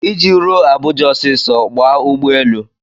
Iji ruo Abuja ọsịsọ, gbaa ụgbọelu.